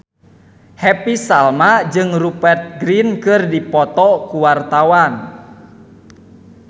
Happy Salma jeung Rupert Grin keur dipoto ku wartawan